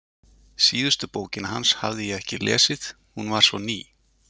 Síðustu bókina hans hafði ég ekki lesið, hún var svo ný.